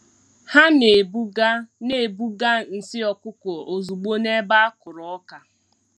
Ha na-ebuga na-ebuga nsị ọkụkọ ozugbo n’ebe a kụrụ ọka.